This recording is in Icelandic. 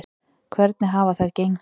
Hvernig hafa þær gengið?